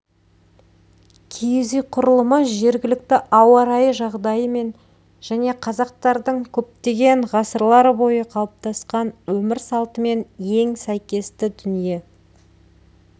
киіз үй құрылымы жергілікті ауа-райы жағдайымен және қазақтардың көптеген ғасырлар бойы қалыптасқан өмір салтымен ең сәйкесті дүние